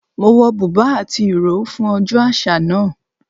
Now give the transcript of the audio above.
Mo wọ bùbá àti ìró fún ọjọ́ àṣà náà